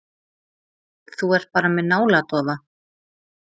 Þú ert bara með náladofa.